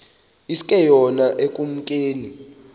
iske yona ekumkeni